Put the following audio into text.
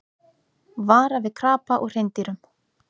Vara við krapa og hreindýrum